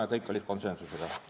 Kõik otsused sündisid konsensusega.